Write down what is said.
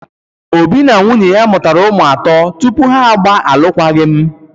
Obi na nwunye mụtara ụmụ atọ tupu ha agba alụkwaghịm.